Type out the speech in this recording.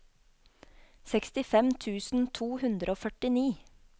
sekstifem tusen to hundre og førtini